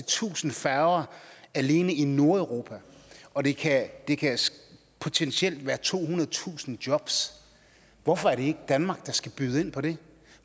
tusind færger alene i nordeuropa og det kan potentielt være tohundredetusind jobs hvorfor er det ikke danmark der skal byde ind på det